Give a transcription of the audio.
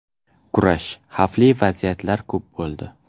Kurash, xavfli vaziyatlar ko‘p bo‘ldi.